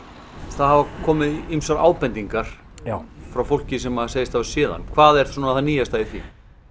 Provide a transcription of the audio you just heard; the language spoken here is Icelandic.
það hafa komið ýmsar ábendingar frá fólki sem segist hafa séð hann hvað er svona það nýjasta í því